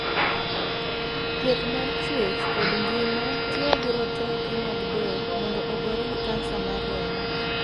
Thieth mar chuech kod ngima tiyogi roteke mag del mondo ogore gi kansa mar remo.